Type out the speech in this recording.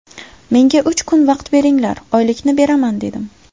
Menga uch kun vaqt beringlar, oylikni beraman dedim.